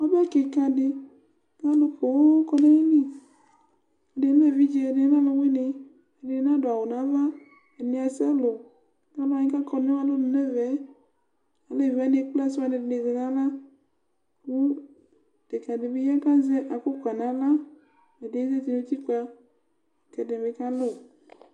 Ɔbɛ kikã ɖi Ku alu poooo kɔ nu ayili Ɛdini lɛ evidze, ɛdini lɛ ɔluwini Ɛdini na ɖu awu nu ãvã Ɛdini asa ɔwlɛwu Aluwani kakɔ nu alɔnu nu ɛvɛ, áleviwani ékplé assiwani ɖini zɛ nu aɣla Ku ɖekadi bi yã, ku azɛ afukpa nu aɣla Ɛdiɛ zãti nu utikpǝ, ku ɛdibi kãlu